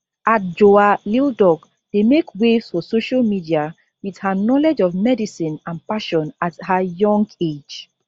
adjoa lildoc dey make waves for social media with her knowledge of medicine and passion at her young age